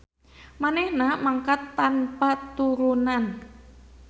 Manehna mangkat tanpa turunan.